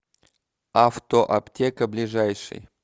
авто аптека ближайший